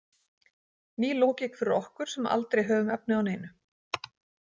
Ný lógík fyrir okkur sem aldrei höfum efni á neinu.